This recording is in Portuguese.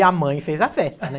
E a mãe fez a festa, né?